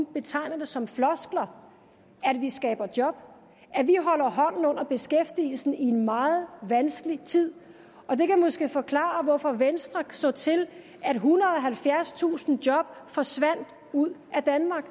betegner det som floskler at vi skaber job og holder hånden under beskæftigelsen i en meget vanskelig tid og det kan måske forklare hvorfor venstre så til da ethundrede og halvfjerdstusind job forsvandt ud af danmark